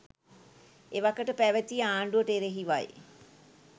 එවකට පැවැති ආණ්ඩුවට එරෙහිවයි.